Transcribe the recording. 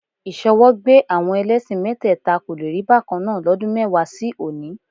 Ìṣọwọ́gbé àwọn ẹlẹ́ṣin mẹ́tẹ́ẹ̀ta kò le rí bákan náà lọ́dún mẹ́wàá sí òní